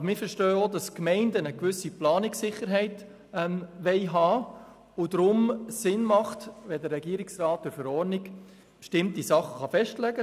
Aber wir verstehen auch, dass Gemeinden eine gewisse Planungssicherheit haben wollen, weshalb es zweckmässig ist, dass der Regierungsrat durch Verordnung bestimmte Dinge festlegt.